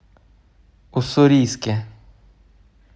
уссурийске